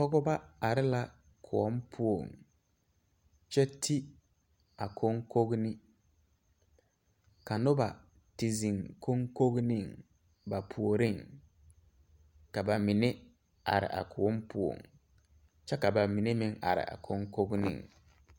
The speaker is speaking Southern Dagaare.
Pɔgeba are la kõɔ poɔŋ kyɛ ti a koŋkone ka nobɔ ti zeŋ koŋkoneŋ ba puoriŋ ka ba mine are a kõɔ poɔŋ kyɛ ka ba mine meŋ are a koŋkoneŋ.